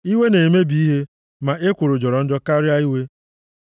Iwe na-emebi ihe, ma ekworo jọrọ njọ karịa iwe.